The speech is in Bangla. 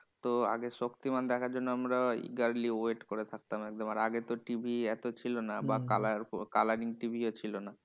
তো আগে শক্তিমান দেখার জন্য আমরা eagerly wait করে থাকতাম একদম। আর আগে তো TV এত ছিল না বা colour colouring TV ও ছিল না।